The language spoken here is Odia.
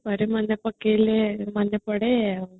ପରେ ମନେ ପକେଇଲେ ମନେ ପଡେ ଆଉ